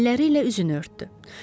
Əlləri ilə üzünü örtdü.